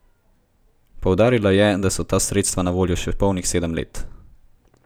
Poudarila je, da so ta sredstva na voljo še polnih sedem let.